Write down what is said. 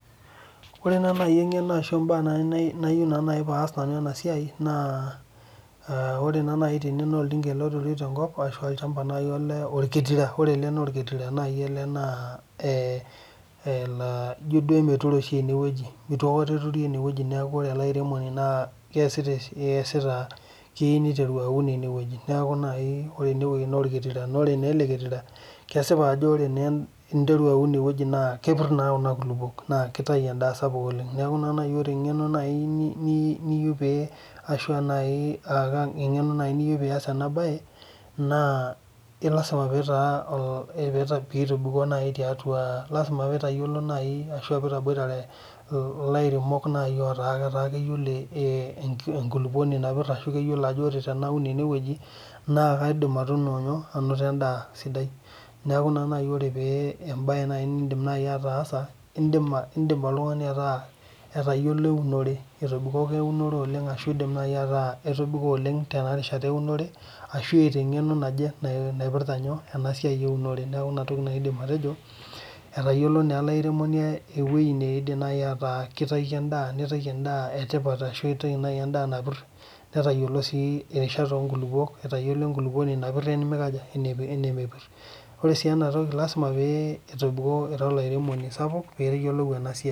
Ore naaji eng'eno nayieu pee as ena siai ore tene naa oltung'ani eturitoi tenkop ore ele naa orketira ele laa ijio duo eitu aikata eturi ore elairemoni naa keyieu niteru aun enewueji ore enewueji naa orketira naa ore naa eleketira naa ore pee enteru atur enewueji naa kepir naa Kuna kulupuok naa kitayu endaa sapuk oleng neeku ore naa naji eng'eno niyieu pee eyas ena mbae naa lasima pee etobiko najii aboitare elairemok laa keyiolo enkulupuoni napir laa keyiolo Ajo tenaun enewueji naa kaidim anoto endaa sidai neeku ore mbae nidim ataasa neeku oltung'ani otayiolo ewunore etobikoko oleng tenewueji ewunore ashu etaa eng'eno naje naipirta ena siai ewunore neeku enatoki najii aidim atejo etayiolo naa elairemoni ewueji naaji nitaki endaa ashu eitaki endaa napir netayiolo siierishat oo nkulupuok etayiolo enkulupuoni napir wenemepir ore sii ena toki naa lasima pee etobiko era olairemoni sapuk pee eyiolou enasiai